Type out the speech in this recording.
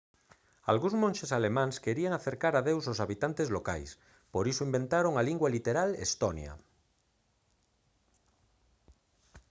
algúns monxes alemáns querían acercar a deus aos habitantes locais por iso inventaron a lingua literal estonia